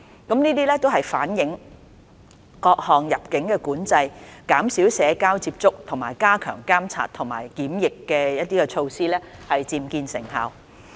這反映各項入境管制、減少社交接觸和加強監察及檢疫的措施漸見成效。